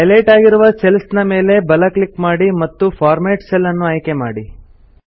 highlight ಆಗಿರುವ cells ನ ಮೇಲೆ ಬಲ ಕ್ಲಿಕ್ ಮಾಡಿ ಮತ್ತು ಫಾರ್ಮ್ಯಾಟ್ ಸೆಲ್ಸ್ ಅನ್ನು ಆಯ್ಕೆ ಮಾಡಿ